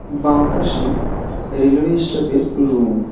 বাঁপাশে railway স্টাফের room.